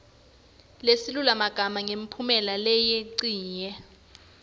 nesilulumagama ngemphumelelo leyincenye